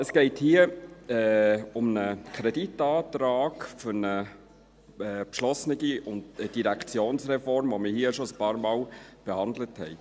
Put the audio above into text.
Es geht hier um einen Kreditantrag für eine beschlossene Direktionsreform, welche wir hier schon einige Male behandelt haben.